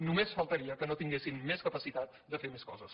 només faltaria que no tinguessin més capacitat de fer més coses